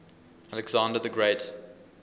alexander the great